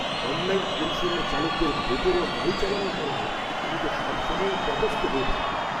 Online পরিষেবার চালকদের বেপরোয়া গাড়ি চালানোর কারণে আমি তো সবসময়ই তটস্থ হয়ে থাকি।